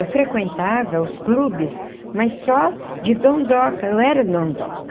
Eu frequentava os clubes, mas só de dondoca, eu era dondoca.